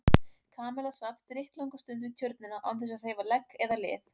Kamilla sat drykklanga stund við Tjörnina án þess að hreyfa legg eða lið.